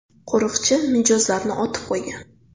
Qo‘riqchi mijozlarni otib qo‘ygan.